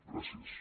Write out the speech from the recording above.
gràcies